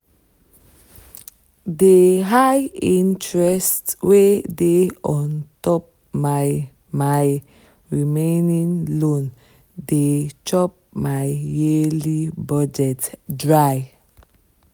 the high interest wey dey on top my my remaining loan dey chop my yearly budget dry.